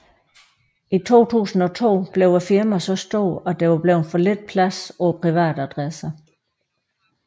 I 2002 blev firmaet så stor at der var blevet for lidt plads på privatadresse